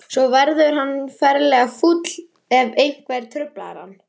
Svo verður hann ferlega fúll ef einhver truflar hann.